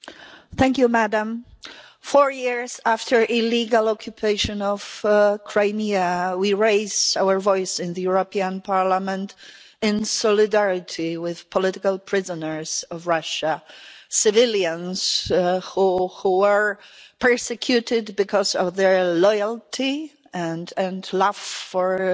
Madam President, four years after the illegal occupation of Crimea, we raise our voice in the European Parliament in solidarity with political prisoners of Russia civilians who are persecuted because of their loyalty and love for this